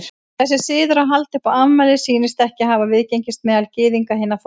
Þessi siður að halda upp á afmæli sýnist ekki hafa viðgengist meðal Gyðinga hinna fornu.